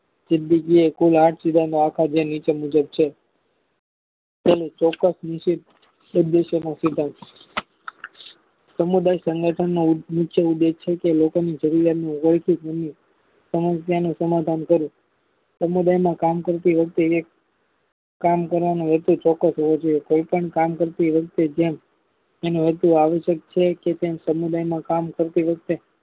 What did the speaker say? સમસ્યાનું સમાધાન કર્યું સમુદાયમાં કામ કરતી વ્યક્તિ કામ કરવાનો હેતુ ચોક્સ હોવો જોઈએ કોઈપણ કામ કરતી વખતે જેમ એનો હેતુ આશયક છે કે તેમ સમુદાયમાં કામ કરતી વખતે